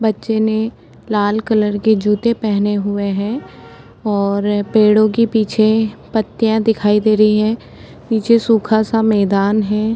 बच्चे ने लाल कलर के जूते पहने हुए हैं और पेड़ों के पीछे पत्तियां दिखाई दे रही है पीछे सुखा सा मैदान है ।